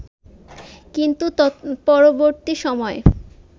কিন্তু তৎপরবর্তী সময়ে